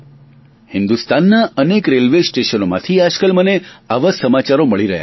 હિન્દુસ્તાનના અનેક રેલવેસ્ટેશનોમાંથી આજ કાલ મને આવા સમાચારો મળી રહ્યા છે